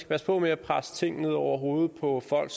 passe på med at presse ting ned over hovedet på folk